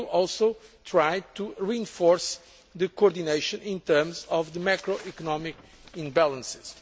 We will also try to reinforce coordination in terms of the macro economic imbalances.